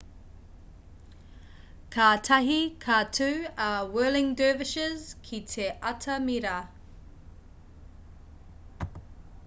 kātahi ka tū a whirling dervishes ki te atamira